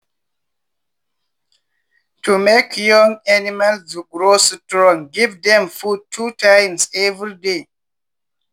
to make young animals grow strong give dem food two times every day.